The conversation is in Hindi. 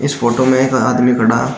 इस फोटो में एक आदमी खड़ा --